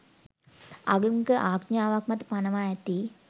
ආගමික ආඥාවක් මත පනවා ඇති